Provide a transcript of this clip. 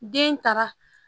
Den taara